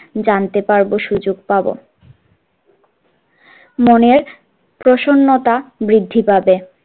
জানতে পারবো সুযোগ পারবো, মনের প্রশনতা বৃদ্ধি পাবে।